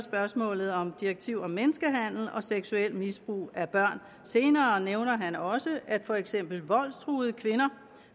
direktivet om seksuelt misbrug af børn senere nævner han også at for eksempel voldstruede kvinder